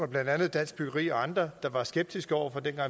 blandt andet dansk byggeri og andre der var skeptiske over for det